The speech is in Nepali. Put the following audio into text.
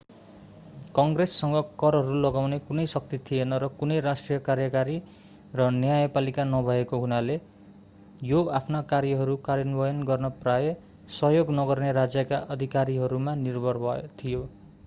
कङ्ग्रेससँग करहरू लगाउने कुनै शक्ति थिएन र कुनै राष्ट्रिय कार्यकारी र न्यायपालिका नभएको हुनाले यो आफ्ना कार्यहरू कार्यान्वयन गर्न प्रायः सहयोग नगर्ने राज्यका अधिकारीहरूमा निर्भर थियो